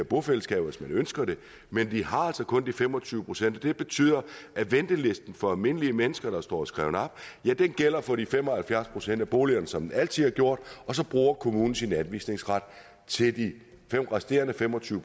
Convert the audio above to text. bofællesskaber hvis man ønsker det men de har altså kun de fem og tyve procent det betyder at ventelisten for almindelige mennesker der står skrevet op gælder for de fem og halvfjerds procent af boligerne som den altid har gjort og så bruger kommunen sin anvisningsret til de resterende fem og tyve